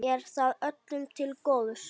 Er það öllum til góðs?